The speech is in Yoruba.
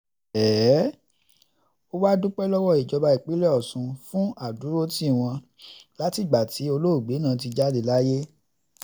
ó wàá dúpẹ́ lọ́wọ́ ìjọba ìpínlẹ̀ ọ̀sùn fún àdúrótì wọn látìgbà tí olóògbé náà ti jáde láyé